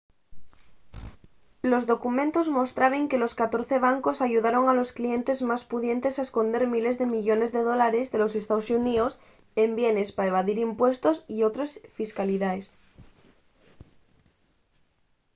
los documentos mostraben que los catorce bancos ayudaron a los clientes más pudientes a esconder miles de millones de dólares de los estaos xuníos en bienes pa evadir impuestos y otres fiscalidaes